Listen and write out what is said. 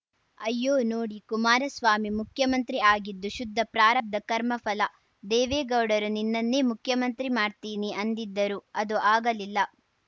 ಅಯ್ಯೋ ನೋಡಿ ಕುಮಾರಸ್ವಾಮಿ ಮುಖ್ಯಮಂತ್ರಿ ಆಗಿದ್ದು ಶುದ್ಧ ಪ್ರಾರಬ್ಧ ಕರ್ಮಫಲ ದೇವೇಗೌಡರು ನಿನ್ನನ್ನೇ ಮುಖ್ಯಮಂತ್ರಿ ಮಾಡ್ತೀನಿ ಅಂದಿದ್ದರು ಅದು ಆಗಲಿಲ್ಲ